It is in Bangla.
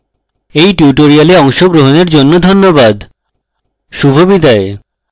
এই tutorial অংশগ্রহণের জন্য ধন্যবাদ শুভবিদায়